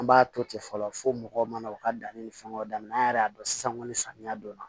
An b'a to ten fɔlɔ fo mɔgɔw mana u ka danni ni fɛnw daminɛ an yɛrɛ y'a dɔn sisan kɔni samiya donna